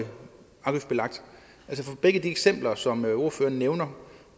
begge de eksempler som ordføreren nævner